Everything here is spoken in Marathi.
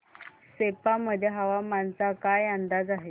सेप्पा मध्ये हवामानाचा काय अंदाज आहे